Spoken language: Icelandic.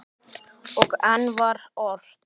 Og enn var ort.